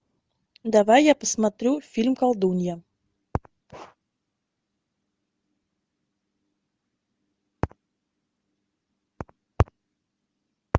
давай я посмотрю фильм колдунья